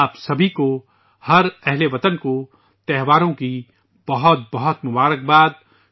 آپ سب کو ، ہر اہل وطن کو ، تہواروں کی بہت بہت مبارکباد